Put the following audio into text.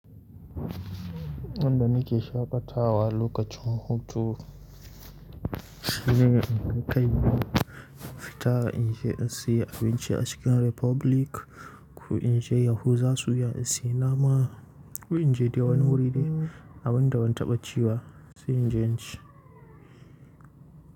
Yanda nake shaƙatawa lokacin hutu shine in ta kai fita inje in siyo abinci a Chicken Republic, ko inje Yahuza suya in siyo nama, ko inje dawan wuri abin da ban taɓa ciwa sai inje inci.